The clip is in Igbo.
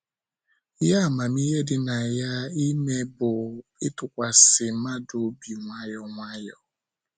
Ihe amamihe dị na ya ime bụ ịtụkwasị mmadụ obi nwayọ nwayọ